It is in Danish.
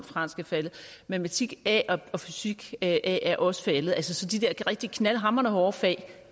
fransk er faldet matematik a og fysik a er også faldet så de der rigtig knaldhamrende hårde fag